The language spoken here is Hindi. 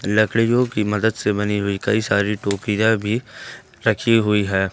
लकड़ियों की मदद से बनी हुई कई सारी टोपीया भी रखी हुई है।